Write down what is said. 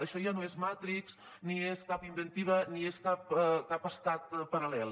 això ja no és matrix ni és cap inventiva ni és cap estat paral·lel